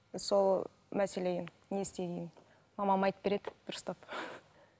сол мәселе не істегенін мамам айтып береді дұрыстап